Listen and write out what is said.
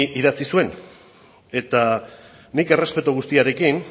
idatzi zuen eta nik errespetu guztiarekin